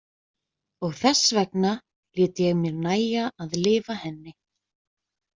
Og þessvegna lét ég mér nægja að lifa henni.